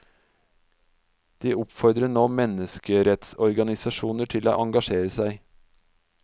De oppfordrer nå menneskerettsorganisasjoner til å engasjere seg.